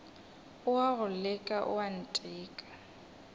o a go leka oanteka